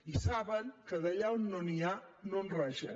i saben que d’allà on no n’hi ha no en raja